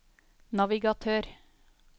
navigatør